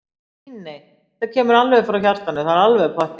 Nei, nei, þetta kemur alveg frá hjartanu, það er alveg pottþétt.